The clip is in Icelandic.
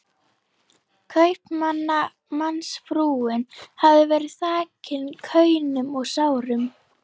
Kaupmannsfrúin hafði verið þakin kaunum og sárum